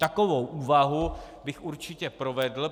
Takovou úvahu bych určitě provedl.